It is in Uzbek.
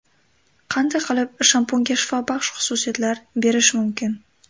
Qanday qilib shampunga shifobaxsh xususiyatlar berish mumkin.